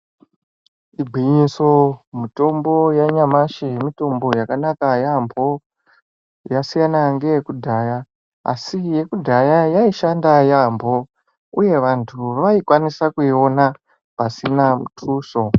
Igwinyiso mitombo yanyamashi mitombo yakanaka yampho yasiyana ngeyekudhaya asi yekudhaya yaishanda yampho uye vantu vaikwanisa kuiona pasina mutuso.